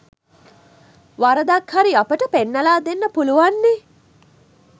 වරදක් හරි අපට පෙන්නලා දෙන්න පුළුන්වන්නේ